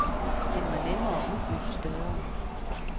Den var nemmere og udbyttet større.